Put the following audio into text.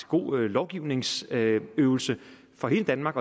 god lovgivningsøvelse for hele danmark